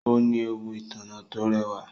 Ó ní ẹwù ìtànná tó rẹwà.